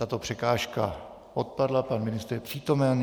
Tato překážka odpadla, pan ministr je přítomen.